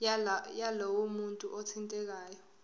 yalowo muntu othintekayo